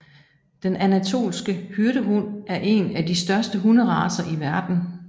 Den anatolske hyrdehund er en af de største hunderacer i verden